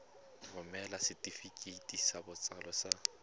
romela setefikeiti sa botsalo sa